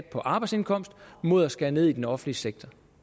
på arbejdsindkomst mod at skære ned i den offentlige sektor